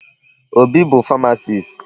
Obi bụ pharmacist.